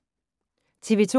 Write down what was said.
TV 2